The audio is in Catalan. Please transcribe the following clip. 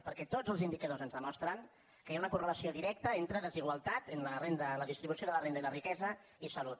perquè tots els indicadors ens demostren que hi ha una correlació directa entre desigualtat en la distribució de la renda i la riquesa i salut